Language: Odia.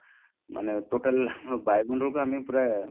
ମାନେ total ବାଯୁମଣ୍ଡଳକୁ ଆମେ ପୁରା